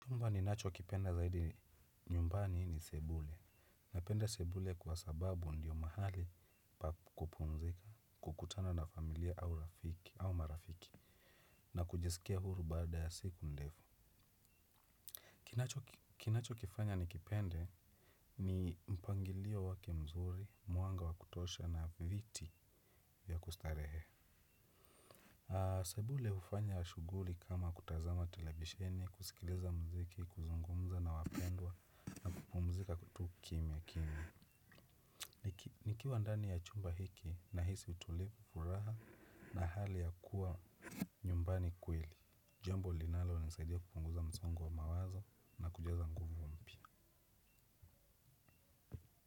Chumba ninacho kipenda zaidi nyumbani ni sebule. Napenda sebule kwa sababu ndiyo mahali pa kupumzika, kukutana na familia au marafiki na kujisikia huru baada ya siku ndefu. Kinacho kifanya nikipende ni mpangilio wake mzuri, mwanga wakutosha na viti ya kustarehe. Sebule hufanya shughuli kama kutazama televisheni, kusikiliza mziki, kuzungumza na wapendwa nakupumzika tu kimya kimya. Nikiwandani ya chumba hiki nahisi utulivu furaha na hali ya kuwa nyumbani kweli. Jambo linalo nisaidia kupunguza msongo wa mawazo na kujaza nguvu mpya.